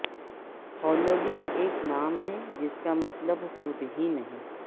Halloween ایک نام ہے جس کا مطلب خود ہی نہیں